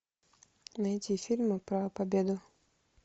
найди фильмы про победу